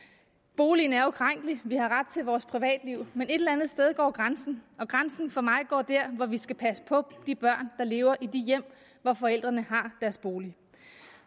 at boligen er ukrænkelig vi har ret til vores privatliv men et eller andet sted går grænsen og grænsen for mig går der hvor vi skal passe på de børn der lever i hjem hvor forældrene har deres bolig